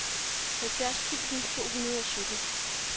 halvfjerds tusind to hundrede og sytten